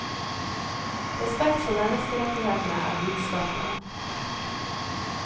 Respekt for menneskerettighetene, er budskapet.